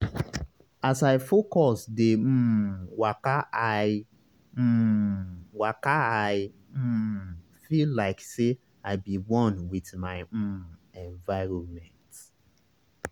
as i focus dey um wakai um wakai um feel like say i be one with my um environment.